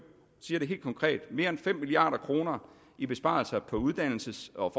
det helt konkret mere end fem milliard kroner i besparelser på uddannelses og